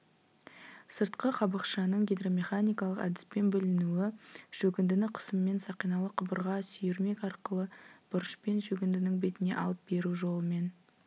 сыртқы қабықшаның гидромеханикалық әдіспен бүлінуі шөгіндіні қысыммен сақиналы құбырға сүйірмек арқылы бұрышпен шөгіндінің бетіне алып беру жолымен